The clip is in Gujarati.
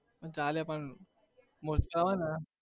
કાલે પણ